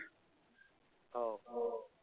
हो हो.